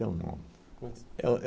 Tem um nome. É um